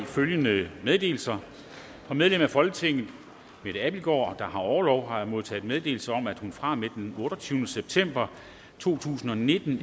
følgende meddelelser fra medlem af folketinget mette abildgaard der har haft orlov har jeg modtaget meddelelse om at hun fra og med den otteogtyvende september to tusind og nitten